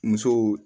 Musow